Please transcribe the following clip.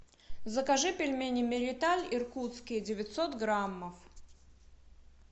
закажи пельмени мириталь иркутские девятьсот граммов